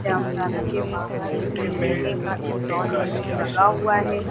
के बाहर एक लोहे का स्टाल लगा हुआ है।